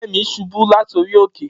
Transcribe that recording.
Femi subu lati ori oke.